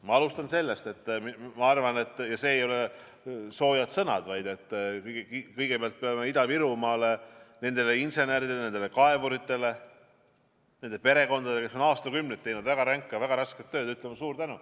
Ma alustan sellest, et need ei ole pelgalt soojad sõnad, aga kõigepealt peame Ida-Virumaale, nendele inseneridele, nendele kaevuritele, kes on aastakümneid teinud väga ränka, väga rasket tööd, ütlema suure tänu.